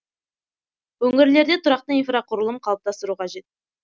өңірлерде тұрақты инфрақұрылым қалыптастыру қажет